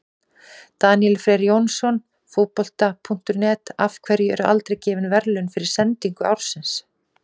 Daníel Freyr Jónsson, Fótbolta.net: Af hverju eru aldrei gefin verðlaun fyrir sendingu ársins?